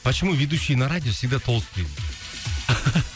почему ведушие на радио всегда толстые